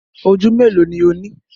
Oju melo ni o ni?